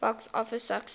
box office success